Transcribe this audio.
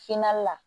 la